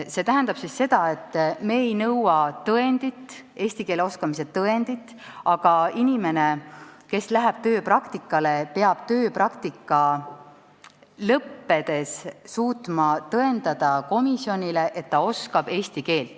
See tähendab, et me ei nõua eesti keele oskamise tõendit, aga inimene, kes läheb tööpraktikale, peab tööpraktika lõppedes suutma komisjonile tõendada, et ta oskab eesti keelt.